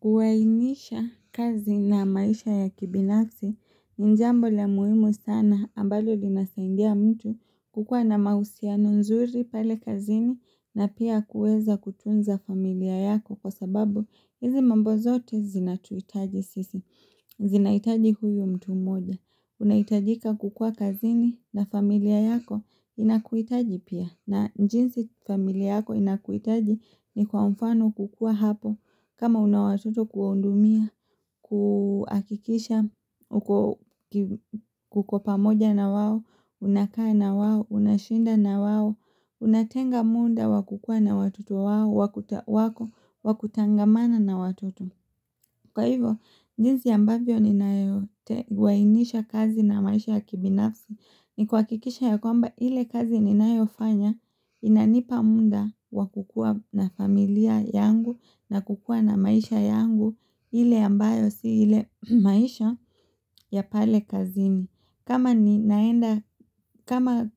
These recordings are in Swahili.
Kuwainisha kazi na maisha ya kibinafsi ni jambo la muhimu sana ambalo linasaidiamtu kukuwa na mausihano nzuri pale kazini na pia kuweza kutunza familia yako kwa sababu hizi mambo zote zinatuhitaji sisi. Zinaitahi huyu mtu mmoja, unahitajika kukua kazini na familia yako inakuhitaji pia na jinsi familia yako inakuhitaji ni kwa mfano kukua hapo kama una watoto kuwahudumia, kuhakikisha uko pamoja na wao, unakaa na wao, unashinda na wao Unatenga muda wa kukua na watoto wao wako, wakutangamana na watoto Kwa hivyo, jinsi ambavyo ninavyoainisha kazi na maisha ya kibinafsi ni kuhakikisha ya kwamba ile kazi ninayofanya inanipa muda wa kukua na familia yangu na kukua na maisha yangu ile ambayo si ile maisha ya pale kazini. Kama ninaenda, kama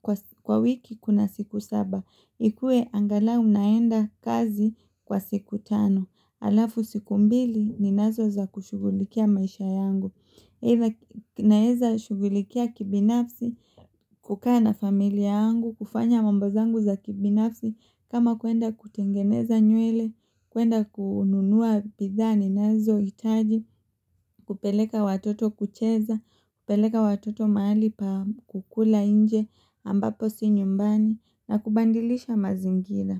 kwa wiki kuna siku saba, ikue angalau naenda kazi kwa siku tano, alafu siku mbili ninazo za kushughulikia maisha yangu. Either naeza shughulikia kibinafsi, kukaa na familia yangu, kufanya mambo zangu za kibinafsi, kama kwenda kutengeneza nywele, kwenda kununua bidhaa ninazo hitajii, kupeleka watoto kucheza, kupeleka watoto mahali pa kukula nje ambapo si nyumbani, na kubadilisha mazingira.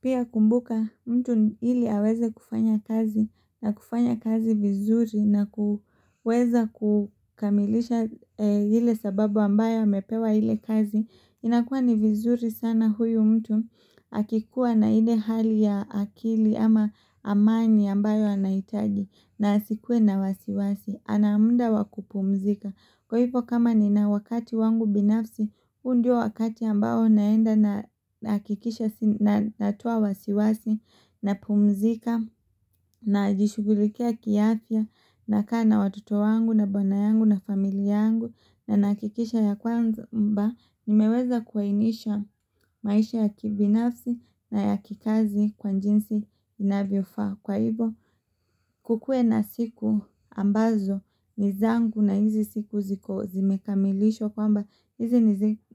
Pia kumbuka mtu ili aweze kufanya kazi na kufanya kazi vizuri na kuweza kukamilisha ile sababu ambayo amepewa ile kazi inakuwa ni vizuri sana huyu mtu akikuwa na ile hali ya akili ama amani ambayo anahitaji na asikuwe na wasiwasi ana muda wakupumzika Kwa hivyo kama ni na wakati wangu binafsi huu ndio wakati ambao naenda nahakikisha na natoa wasiwasi na pumzika najishughulikia kiafya na kaa watoto wangu na bwana yangu na familia yangu na nahakikisha ya kwamba Nimeweza kuainisha maisha ya kibinafsi na ya kikazi kwa jinsi inavyofaa Kwa hivyo kukue na siku ambazo ni zangu na hizi siku ziko zimekamilishwa kwamba hizi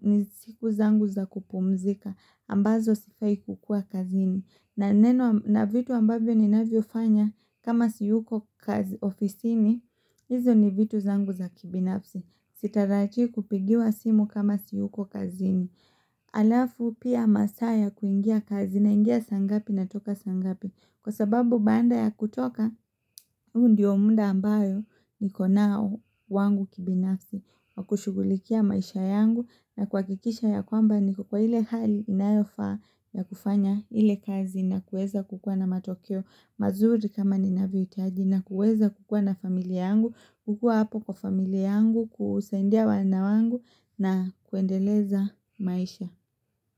ni siku zangu za kupumzika ambazo sifai kukua kazini na vitu ambavyo ninavyo fanya kama siyuko kazi ofisini hizo ni vitu zangu za kibinafsi Sitarajii kupigiwa simu kama siyuko kazini Alafu pia masaa ya kuingia kazi naingia saa ngapi natoka saa ngapi Kwa sababu baada ya kutoka, huu ndio muda ambao niko nao wangu kibinafsi wa kushugulikia maisha yangu na kuhakikisha ya kwamba niko kwa ile hali inayofaa ya kufanya ile kazi na kueza kukua na matokeo mazuri kama ninavyohitaji na kueza kukua na familia yangu, kukua hapo kwa familia yangu, kusaidia wana wangu na kuendeleza maisha.